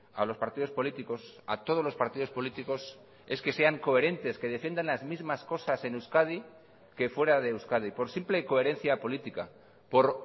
a los partidos políticos a todos los partidos políticos es que sean coherentes que defiendan las mismas cosas en euskadi que fuera de euskadi por simple coherencia política por